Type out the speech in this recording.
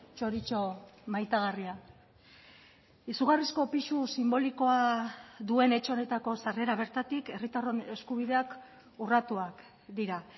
txoritxo maitagarria izugarrizko pisu sinbolikoa duen etxe honetako sarrera bertatik herritarron eskubideak urratuak dira